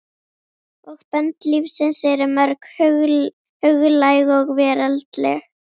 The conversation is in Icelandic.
Og bönd lífsins eru mörg, huglæg og veraldleg.